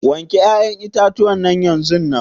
wanke ya'yan itatuwan yanzunnan.